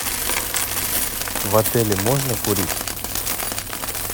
в отеле можно курить